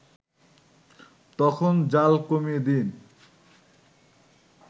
তখন জ্বাল কমিয়ে দিন